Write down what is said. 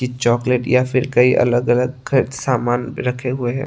Chocolate या फिर कई अलग अलग सामान रखे हुए हैं।